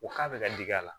U k'a bɛ ka digi a la